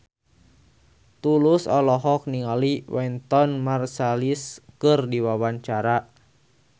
Tulus olohok ningali Wynton Marsalis keur diwawancara